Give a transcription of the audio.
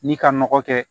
Ni ka nɔgɔ kɛ